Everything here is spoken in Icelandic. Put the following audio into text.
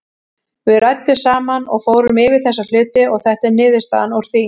Við ræddum saman og fórum yfir þessa hluti og þetta er niðurstaðan úr því.